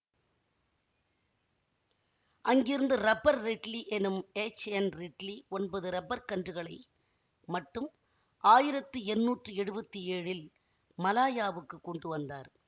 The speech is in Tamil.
அங்கிருந்து ரப்பர் ரிட்லி எனும் எச்என்ரிட்லி ஒன்பது ரப்பர்க் கன்றுகளை மட்டும் ஆயிரத்தி எண்ணூற்றி எழுவத்தி ஏழில் மலாயாவுக்கு கொண்டு வந்தார்